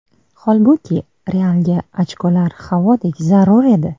Holbuki, Realga ochkolar havodek zarur edi.